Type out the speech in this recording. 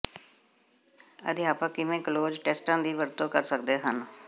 ਅਧਿਆਪਕ ਕਿਵੇਂ ਕਲੋਜ਼ ਟੈਸਟਾਂ ਦੀ ਵਰਤੋਂ ਕਰ ਸਕਦੇ ਹਨ